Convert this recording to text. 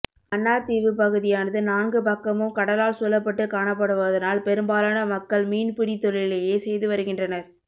மன்னார் தீவு பகுதியானது நான்கு பக்கமும் கடலால் சூழப்பட்டு காணப்படுவதனால் பெரும்பாலன மக்கள் மீன்பிடி தொழிலையே செய்துவருகின்றனர்